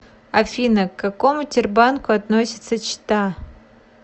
афина к какому тербанку относится чита